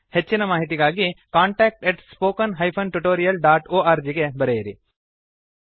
ಹೆಚ್ಚಿನ ಮಾಹಿತಿಗಾಗಿ contactspoken tutorialorg ಗೆ ಬರೆಯಿರಿ